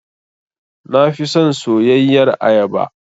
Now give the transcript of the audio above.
Na fi son soyayyar ayaba.